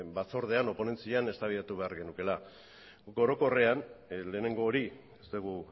batzordean edo ponentzian eztabaidatu behar genukeela orokorrean lehenengo hori ez dugu